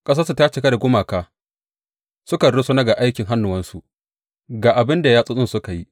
Ƙasarsu ta cika da gumaka; sukan rusuna ga aikin hannuwansu, ga abin da yatsotsinsu suka yi.